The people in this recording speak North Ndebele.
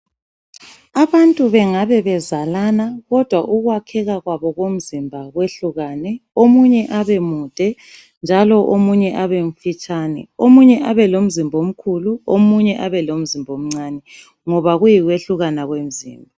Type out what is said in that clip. Abantu bengabe bezalana kodwa ukwakheka kwabo kwemizimba kwehlukane omunye abemude njalo omunye abe mfitshane, omunye abe lomzimba omkhulu omunye abelomzimba omncane ngoba kuyikwehlukana kwemzimba.